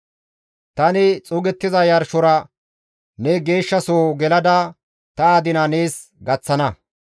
Tani xuugettiza yarshora ne geeshshasoho gelada ta adina nees gaththana.